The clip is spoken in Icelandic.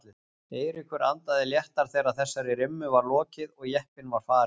Eiríkur andaði léttar þegar þessari rimmu var lokið og jeppinn var farinn.